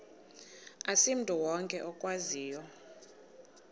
asimntu wonke okwaziyo